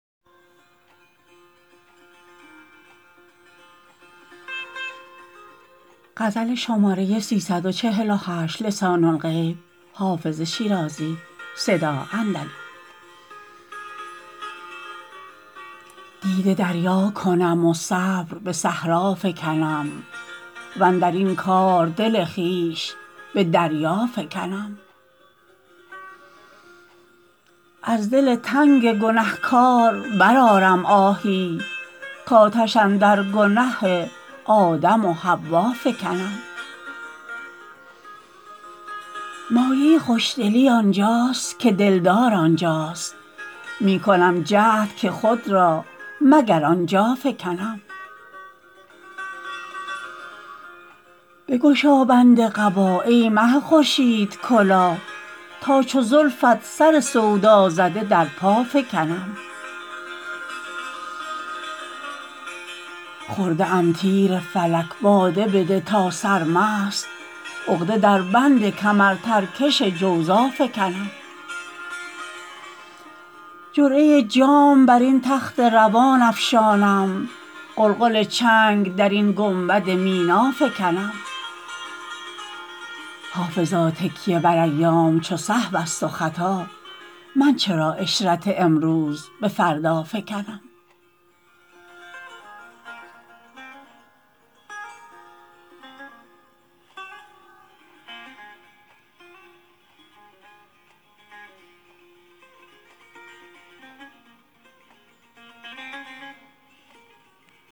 دیده دریا کنم و صبر به صحرا فکنم واندر این کار دل خویش به دریا فکنم از دل تنگ گنه کار برآرم آهی کآتش اندر گنه آدم و حوا فکنم مایه خوش دلی آن جاست که دل دار آن جاست می کنم جهد که خود را مگر آن جا فکنم بگشا بند قبا ای مه خورشیدکلاه تا چو زلفت سر سودا زده در پا فکنم خورده ام تیر فلک باده بده تا سرمست عقده در بند کمرترکش جوزا فکنم جرعه جام بر این تخت روان افشانم غلغل چنگ در این گنبد مینا فکنم حافظا تکیه بر ایام چو سهو است و خطا من چرا عشرت امروز به فردا فکنم